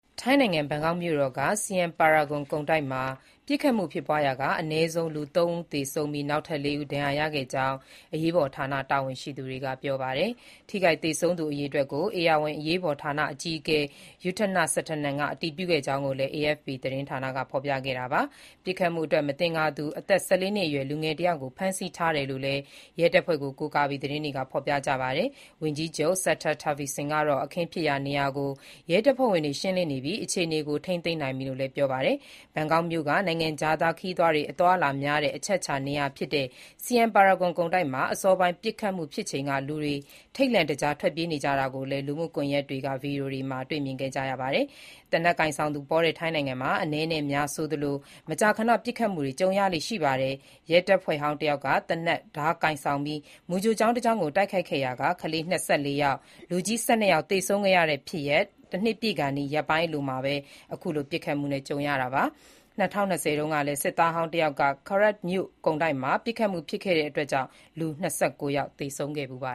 ထိုင်းနိုင်ငံ ဘန်ကောက်မြို့တော်က Siam Paragon ကုန်တိုက်မှာ ပစ်ခတ်မှုဖြစ်ရာက အနည်းဆုံး ၃ ဦးသေဆုံးပြီး၊ နောက်ထပ် ၄ ဦး ဒဏ်ရာရခဲ့ကြောင်း အရေးပေါ်ဌာနတာဝန်ရှိသူတွေက ပြောပါတယ်။ ထိခိုက်သေဆုံးသူ အရေအတွက်ကို ဧရာဝဏ်အရေးပေါ်ဌာန အကြီးအကဲ Yuthana Srettanan အတည်ပြုခဲ့ကြောင်းလည်း AFP သတင်းက ဖော်ပြခဲ့တာပါ။ ပစ်ခတ်မှုအတွက် မသင်္ကာသူ အသက် ၁၄ နှစ်အရွယ် လူငယ်တယောက်ကို ဖမ်းဆီးထားတယ်လို့လည်း ရဲတပ်ဖွဲ့ကို ကိုးကားပြီး သတင်းတွေက ဖော်ပြပါတယ်။ ဝန်ကြီးချုပ် Srettha Thavisin ကတော့ အခင်းဖြစ်ရာနေရာကို ရဲတပ်ဖွဲ့ဝင်တွေ ရှင်းလင်းနေပြီး၊ အခြေအနေကို ထိန်းသိမ်းနိုင်ပြီလို့လည်း ပြောပါတယ်။ ဘန်ကောက်မြို့က နိုင်ငံခြားသား ခရီးသွားတွေ အလာများတဲ့ အချက်အခြာနေရာ Siam Paragon ကုန်တိုက်မှာ အစောပိုင်း ပစ်ခတ်မှုဖြစ်ချိန်က လူတွေထိတ်လန့်တကြား ထွက်ပြေးကြတာကိုလည်း လူမှုကွန်ရက်တွေက ဗွီဒီယိုတွေမှာ တွေ့ခဲ့ကြရတာပါ။ သေနတ်ကိုင်ဆောင်သူပေါတဲ့ ထိုင်းနိုင်ငံမှာ အနည်းနဲ့အများဆိုသလို မကြာခဏ ပစ်ခတ်မှုတွေ ကြုံရလေ့ရှိပါတယ်။ ရဲတပ်ဖွဲ့ဟောင်းတယောက်က သေနတ်၊ ဓားကိုင်ဆောင်ပြီး မူကြိုကျောင်း တကျောင်းကို တိုက်ခိုက်ခဲ့ရာက ကလေး ၂၄ ယောက်၊ လူကြီး ၁၂ ယောက် သေဆုံးခဲ့တဲ့ဖြစ်ရပ် တနှစ်ပြည့်ကာနီး ရက်ပိုင်း အလိုမှာပဲ ပစ်ခတ်မှုနဲ့ ကြုံခဲ့ရတာပါ။ ၂၀၂၀ တုန်းကလည်း စစ်သားဟောင်း တယောက်က Korat မြို့ ကုန်တိုက်မှာ ပစ်ခတ်မှုကြောင့် လူ ၂၉ ယောက် သေဆုံးခဲ့ဖူးပါ